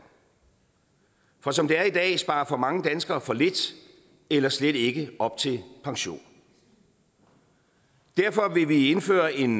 for som det er i dag sparer for mange danskere for lidt eller slet ikke op til pension derfor vil vi indføre en